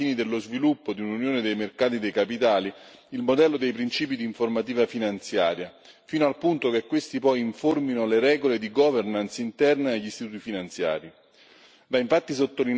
Va quindi rafforzato, ai fini dello sviluppo di un'unione dei mercati dei capitali, il modello dei principi di informativa finanziaria fino al punto che questi poi informino le regole di governance interna degli istituti finanziari.